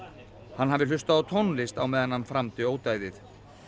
hann hafi hlustað á tónlist á meðan hann framdi ódæðið